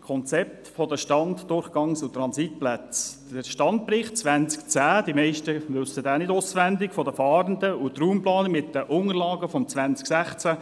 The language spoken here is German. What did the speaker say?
Das Konzept «Stand-, Durchgangs- und Transitplätze für Fahrende im Kanton Bern» der «Standbericht 2010» der Fahrenden – die wenigsten kennen diesen auswendig –, und die Raumplanung mit Unterlagen aus dem Jahr 2016,